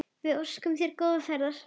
Við óskum þér góðrar ferðar.